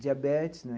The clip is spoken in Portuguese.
Diabetes, né?